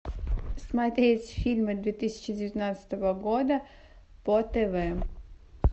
смотреть фильмы две тысячи девятнадцатого года по тв